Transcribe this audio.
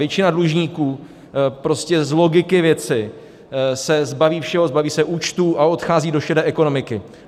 Většina dlužníků prostě z logiky věci se zbaví všeho, zbaví se účtů a odchází do šedé ekonomiky.